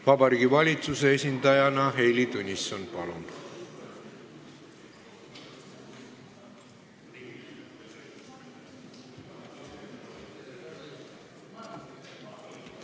Vabariigi Valitsuse esindaja Heili Tõnisson, palun!